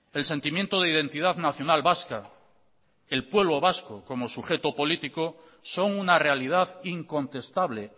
el sentimiento de identidad nacional vasca el pueblo vasco como sujeto político son una realidad incontestable